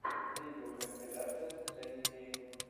видеокомпиляция жени гейн